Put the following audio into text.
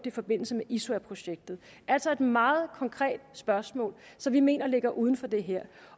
i forbindelse med isuaprojektet altså et meget konkret spørgsmål som vi mener ligger uden for det her